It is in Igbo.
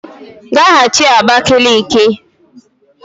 Gaghachi Abakaliki!